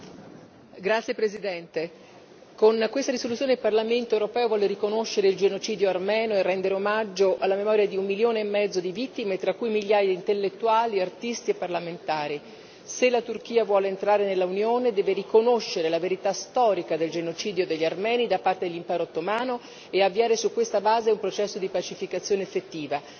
Signor Presidente, onorevoli colleghi, con questa risoluzione il Parlamento europeo vuole riconoscere il genocidio armeno e rendere omaggio alla memoria di un milione e mezzo di vittime, tra cui migliaia di intellettuali, artisti e parlamentari. Se la Turchia vuole entrare nell'Unione deve riconoscere la verità storica del genocidio degli armeni da parte dell'impero ottomano e avviare su questa base un processo di pacificazione effettiva.